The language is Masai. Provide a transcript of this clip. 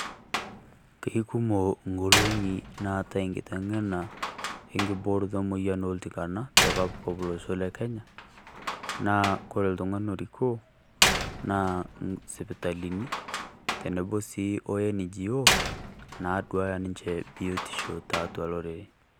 Kekumok engolong'i naatae eng'iteng'ena engibooroto emoyian oltikana teKoppikop Olosho leKenya naa kore oltung'ani orikoo naa sipitalini tenebo sii o Non governmental organization , naadua ninche biotisho tiatua olorere.